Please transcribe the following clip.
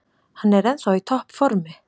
Hann er ennþá í topp formi.